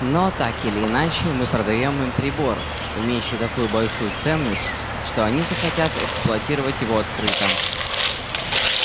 но так или иначе мы продаём им прибор имеющий такую большую ценность что они захотят эксплуатировать его открыто